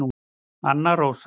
Anna Rósa